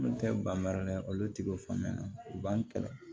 Olu tɛ ban baara la olu ti o faamuya u b'an kɛlɛ